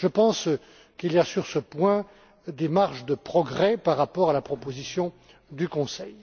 rôle. Je pense qu'il y a sur ce point des marges de progrès par rapport à la proposition du Conseil.